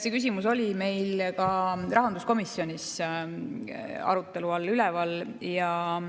See küsimus oli meil ka rahanduskomisjonis arutelu all.